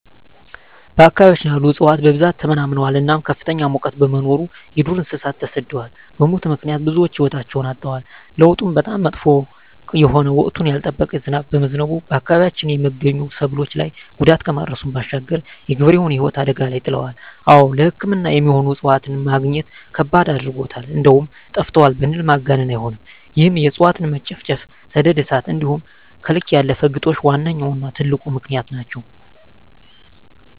በአካባቢያችን ያሉ እፅዋት በብዛት ተመናምነዋል እናም ከፍተኛ ሙቀት በመኖሩ የዱር እንሰሳት ተሰደዋል በሙት ምክንያት ብዙወች ህይወታቸዉን አጠዋል። ለዉጡም በጣም መጥፎ የሆነ ወቅቱን ያልጠበቀ ዝናብ በመዝነቡ በአካባቢያችን የመገኙ ሰብሎች ላይ ጉዳት ከማድረሱም ባሻገር የገበሬዉን ህይወት አደጋ ላይ ይጥላል። አወ ለሕክምና የሚሆኑ እፅዋትን መግኘት ከባድ አድርጎታል እንደዉም ጠፍተዋል ብንል ማጋነን አይሆንም ይህም የእፅዋት መጨፍጨፍ፣ ሰደድ እሳት እንዲሆም ከልክ ያለፈ ግጦሽ ዋነኛዉና ትልቁ ምክንያት ናቸዉ።